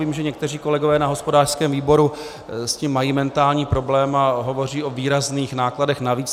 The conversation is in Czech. Vím, že někteří kolegové na hospodářském výboru s tím mají mentální problém a hovoří o výrazných nákladech navíc.